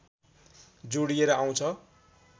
जोडिएर आउँछ